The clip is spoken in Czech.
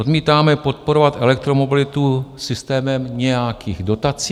Odmítáme podporovat elektromobilitu systémem nějakých dotací.